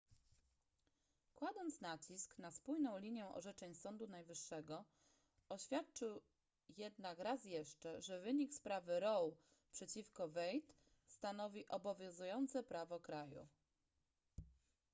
kładąc nacisk na spójną linię orzeczeń sądu najwyższego oświadczył jednak raz jeszcze że wynik sprawy roe przeciwko wade stanowi obowiązujące prawo kraju